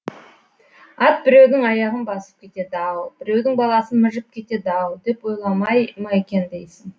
ат біреудің аяғын басып кетеді ау біреудің баласын мыжып кетеді ау деп ойламай ма екен дейсің